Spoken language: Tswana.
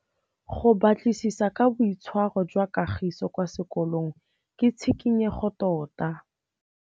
Go batlisisa ka boitshwaro jwa Kagiso kwa sekolong ke tshikinyêgô tota.